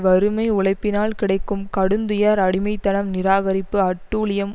வறுமை உழைப்பினால் கிடைக்கும் கடுந்துயர் அடிமை தனம் நிராகரிப்பு அட்டூழியம்